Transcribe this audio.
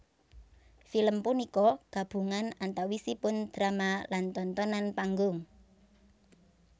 Film punika gabungan antawisipun drama lan tontonan panggung